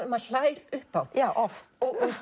maður hlær upphátt já oft